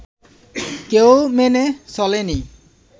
কেউ মেনে চলেনি